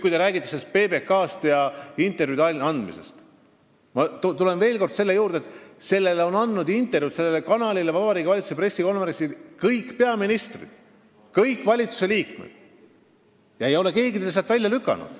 Kui te räägite PBK-st ja intervjuude andmisest, siis ma tulen veel kord selle juurde, et sellele kanalile on Vabariigi Valitsuse pressikonverentsil intervjuusid andnud kõik peaministrid ja kõik valitsusliikmed – keegi ei ole sealt PBK-d välja lükanud.